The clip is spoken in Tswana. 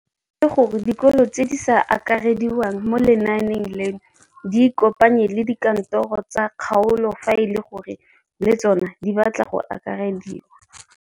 O tlhalositse gore dikolo tse di sa akarediwang mo lenaaneng leno di ikopanye le dikantoro tsa kgaolo fa e le gore le tsona di batla go akarediwa.